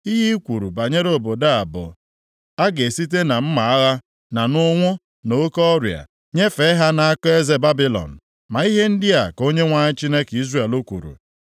“Ihe i kwuru banyere obodo a bụ, ‘A ga-esite na mma agha, na nʼụnwụ, na nʼoke ọrịa, nyefee ha nʼaka eze Babilọn,’ ma ihe ndị a ka Onyenwe anyị, Chineke Izrel kwuru,